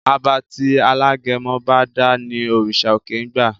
Àbá tí alágẹmọ bá dá ní òrìṣà òkè ń gba.